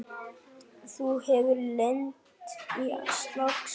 Þú hefur lent í slagsmálum!